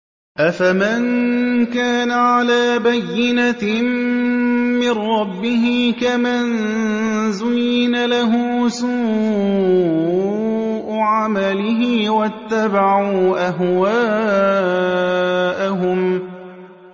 أَفَمَن كَانَ عَلَىٰ بَيِّنَةٍ مِّن رَّبِّهِ كَمَن زُيِّنَ لَهُ سُوءُ عَمَلِهِ وَاتَّبَعُوا أَهْوَاءَهُم